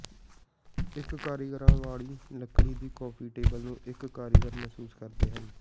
ਇਕ ਕਾਰੀਗਰਾਂ ਵਾਲੀ ਲੱਕੜੀ ਦੀ ਕੌਫੀ ਟੇਬਲ ਨੂੰ ਇਕ ਕਾਰੀਗਰ ਮਹਿਸੂਸ ਕਰਦੇ ਹਨ